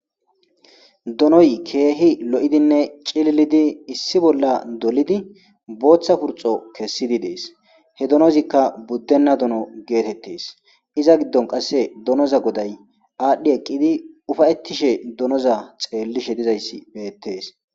donoy keehi lo7idinne cililidi issi bolla dolidi booththa purxo kessidi dees he donozikka buddenna dono geetettes iza giddon qasse donoza goday aadhdhi eqqidi ufayettishe donoza xeellishe dizayssi beettees